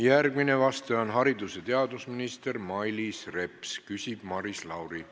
Järgmine vastaja on haridus- ja teadusminister Mailis Reps, küsib Maris Lauri.